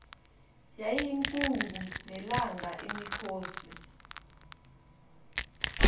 yayiyinkungu nelanga imikhosi